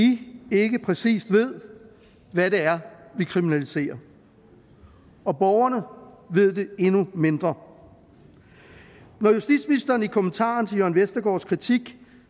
ikke præcis ved hvad det er vi kriminaliserer og borgerne ved det endnu mindre når justitsministeren i kommentaren til jørn vestergaards kritik